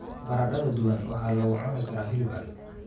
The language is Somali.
Baradhada duban waxaa lagu cuni karaa hilib ari.